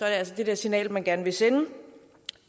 altså det signal man gerne vil sende